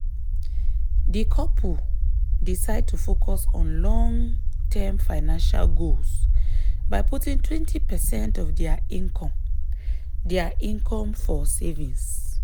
di couple decide to focus on long-term financial goals by putting 20 percent of dia income dia income for savings.